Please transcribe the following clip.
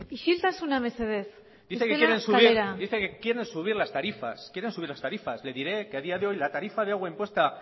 isiltasuna mesedez bestela kalera dicen que quieren subir las tarifas quieren subir las tarifas les diré que a día de hoy la tarifa de agua impuesta